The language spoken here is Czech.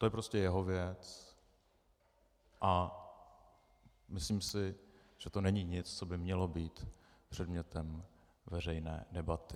To je prostě jeho věc a myslím si, že to není nic, co by mělo být předmětem veřejné debaty.